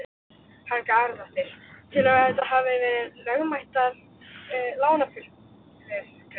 Helga Arnardóttir: Telurðu að þetta hafi verið lögmætar lánafyrirgreiðslur?